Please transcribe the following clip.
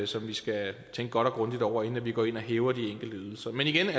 som vi skal tænke godt og grundigt over inden vi går ind og hæver de enkelte ydelser men igen vi